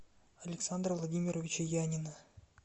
александра владимировича янина